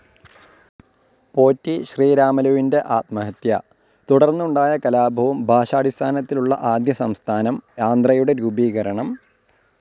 പോറ്റി ശ്രീരാമലുവിന്റെ ആത്മഹത്യ. തുടർന്നുണ്ടായ കലാപവും ഭാഷാടിസ്ഥാനത്തിലുള്ള ആദ്യ സംസ്ഥാനം, ആന്ധ്രയുടെ രൂപീകരണം